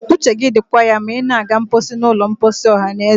uche gị dịkwa ya ma ị na-aga mposi n'ụlọ mposi ọhanaeze